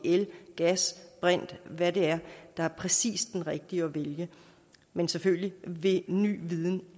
er el gas brint eller hvad det er der er præcis den rigtige at vælge men selvfølgelig vil ny viden